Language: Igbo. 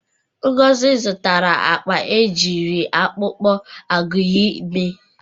Ngozi zụtara akpa e jiri akpụkpọ agụịyị mee.